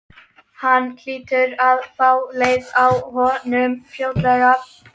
Hún hlýtur að fá leið á honum fljótlega.